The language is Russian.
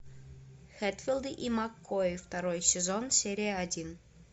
хэтфилды и маккои второй сезон серия один